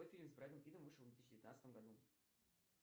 какой фильм с брэдом питтом вышел в две тысячи девятнадцатом году